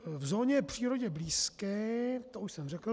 V zóně přírodě blízké... to už jsem řekl.